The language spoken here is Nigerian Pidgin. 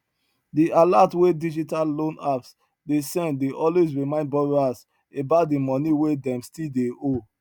the alert wey digital loan apps dey send dey always remind borrowers about di money wey dem stlll dey owe